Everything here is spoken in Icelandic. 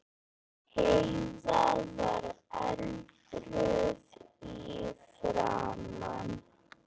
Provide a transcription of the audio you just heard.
Heiða var eldrauð í framan.